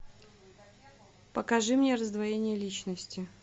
покажи мне раздвоение личности